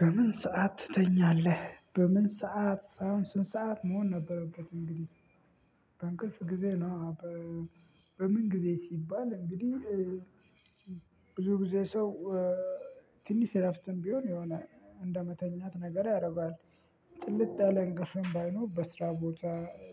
በምን ሰዓት ትተኛለህ በምን ሰዓት ሳይሆን ስንት ሰዓት መሆን ነበረበት እንግዲህ በእንቅልፍ ጊዜ ነው። በምን ጊዜ ሲባል እንግዲህ ብዙ ጊዜ ሰው ትንሽ እረፍትም ቢሆን የሆነ እንደመተኛት ነገር ያደርገዋል ጭልጥ ያለ እንቅልፍም ባይኖር በስራ ቦታ